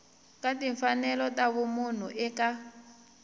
ka timfanelo ta vanhu eka